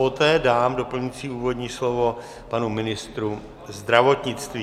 Poté dám doplňující úvodní slovo panu ministru zdravotnictví.